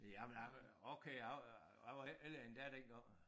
Jamen jeg okay jeg jeg var heller ikke ældre end dig dengang